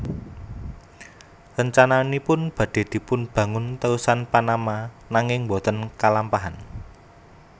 Rencananipun badhe dipunbangun terusan Panama nanging boten kalampahan